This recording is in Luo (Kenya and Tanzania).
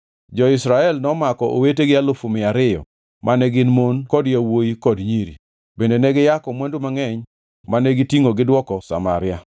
Jo-Israel nomako owetegi alufu mia ariyo mane gin mon kod yawuowi kod nyiri. Bende ne giyako mwandu mangʼeny mane gitingʼo gidwoko Samaria.